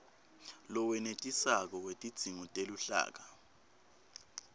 lowenetisako wetidzingo teluhlaka